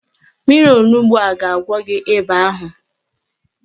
Mmiri onugbo a ga-agwọ gị ịba ahụ